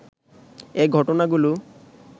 এ ঘটনাগুলো